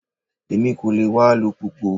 Èmi kò lè wa alùpùpù.